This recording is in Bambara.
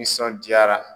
Nisɔndiyara